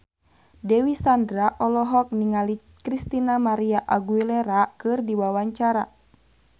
Dewi Sandra olohok ningali Christina María Aguilera keur diwawancara